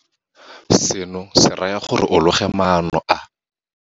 Seno se raya gore o loge maano a a.